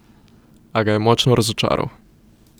A ga je močno razočaral.